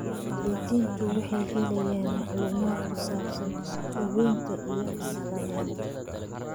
Waalidiintu waxay helayaan macluumaadka ku saabsan daaweynta iyo tallaalada.